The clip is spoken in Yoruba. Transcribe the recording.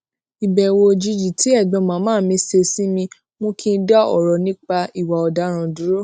ìbèwò òjijì tí ègbón màmá mi ṣe sí mi mú kí n dá òrò nípa ìwà òdaràn dúró